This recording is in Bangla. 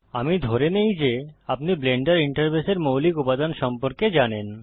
আমি ধরে নেই যে আপনি ব্লেন্ডার ইন্টারফেসের মৌলিক উপাদান সম্পর্কে জানেন